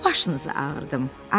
Nə başınızı ağrıdım.